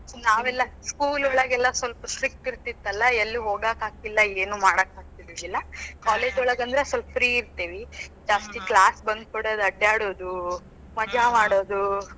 ನಾವೆಲ್ಲಾ, school ಒಳಗೆಲ್ಲಾ ಸ್ವಲ್ಪ strict ಇರತಿತ್ತಲ್ಲಾ ಎಲ್ಲಿ ಹೋಗಾಕಾತಿಲ್ಲ, ಏನೂ ಮಾಡಾಕ್ ಆಗ್ತಿದ್ದಿದಿಲ್ಲಾ. college ಒಳಗಂದ್ರ ಸ್ವಲ್ಪ free ಇರತೇವಿ. ಜಾಸ್ತಿ first class bunk ಹೊಡೆದು ಅಡ್ಡಾಡೋದು, ಮಜಾ ಮಾಡೋದು .